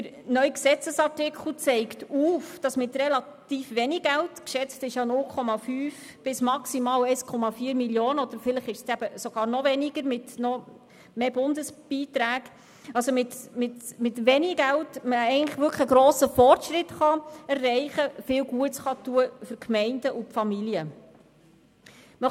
Der neue Gesetzesartikel zeigt auf, dass mit relativ wenig Geld – geschätzt sind 0,5 Mio. bis maximal 1,4 Mio. Franken, möglicherweise wird es sogar noch weniger sein, wenn die Bundesbeiträge dazu kommen – ein grosser Fortschritt und viel Gutes für die Gemeinden und Familien erreicht werden kann.